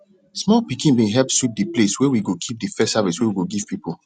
small pikin bin help sweep de place where we go keep de first harvest wey we go give people